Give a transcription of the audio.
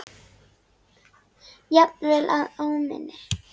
Jafnvel að óminni.